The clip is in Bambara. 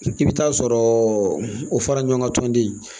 I bɛ taa sɔrɔ o fara ɲɔgɔn kan tɔnden